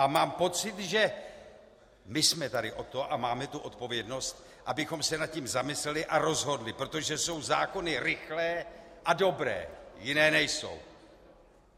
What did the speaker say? A mám pocit, že my jsme tady od toho a máme tu odpovědnost, abychom se nad tím zamysleli a rozhodli, protože jsou zákony rychlé a dobré - jiné nejsou!